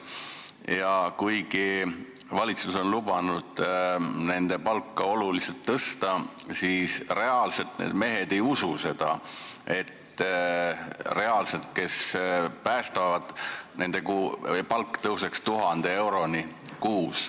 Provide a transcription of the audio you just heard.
Ja kuigi valitsus on lubanud nende palka olulisel määral tõsta, siis mehed, kes reaalselt päästetööd teevad, tegelikult ei usu, et nende palk tõuseb 1000 euroni kuus.